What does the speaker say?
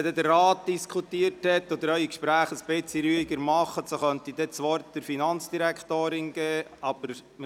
Ich bitte Sie, die Gespräche ruhig fortzusetzen, damit ich das Wort an die Finanzdirektorin geben kann.